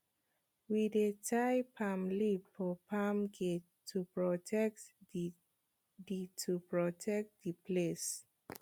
we dey tie palm leaf for farm gate to protect the the to protect the place